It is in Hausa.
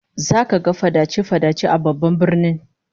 Zaka ga fadace-fadace a babban birnin